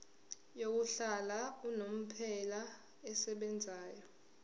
yokuhlala unomphela esebenzayo